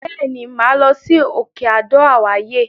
Bẹ́ẹ̀ ni, màá lọ sí òkè Adó àwáyè.